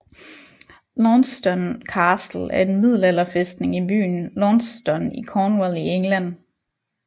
Launceston Castle er en middelalderfæstning i byen Launceston i Cornwall i England